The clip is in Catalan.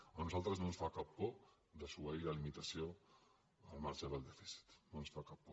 a nosaltres no ens fa cap por desobeir la limitació del marge del dèficit no ens fa cap por